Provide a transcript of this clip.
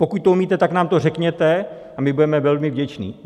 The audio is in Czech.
Pokud to umíte, tak nám to řekněte a my budeme velmi vděčni.